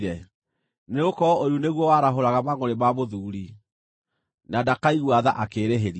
nĩgũkorwo ũiru nĩguo warahũraga mangʼũrĩ ma mũthuuri, na ndakaigua tha akĩĩrĩhĩria.